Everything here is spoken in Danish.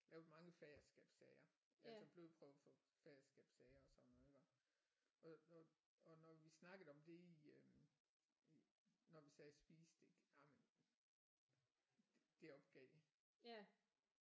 Lavet mange faderskabssager jeg tog blodprøver for faderskabssager og sådan noget iggå og og og når vi snakkede om det i øh i når vi sad og spiste ik jamen det opgav jeg